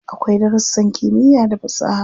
Akwai darussan kimiyya da fasaha.